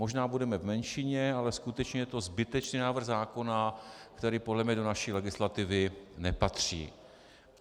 Možná budeme v menšině, ale skutečně je to zbytečný návrh zákona, který podle mě do naší legislativy nepatří.